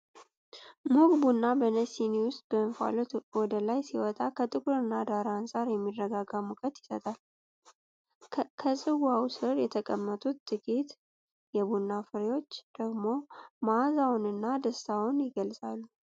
ሙቅ ቡና በነጭ ሲኒ ውስጥ እንፋሎቱ ወደ ላይ ሲወጣ፣ ከጥቁር ዳራ አንፃር የሚረጋጋ ሙቀት ይሰጣል። ከጽዋው ስር የተቀመጡት ጥቂት የቡና ፍሬዎች ደግሞ መዓዛውንና ደስታውን ይገልጻሉ።